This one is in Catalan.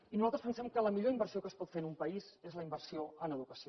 i nosaltres pensem que la millor inversió que es pot fer en un país és la inversió en educació